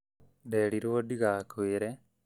Nderirwo ndigakwĩre